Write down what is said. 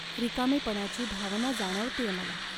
रिकामेपणाची भावना जाणवतेय मला.